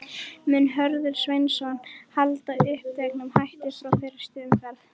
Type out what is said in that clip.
Mun Hörður Sveinsson halda uppteknum hætti frá fyrstu umferð?